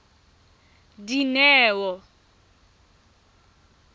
dineo